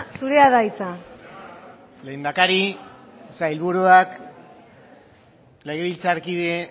zurea da hitza lehendakari sailburuak legebiltzarkide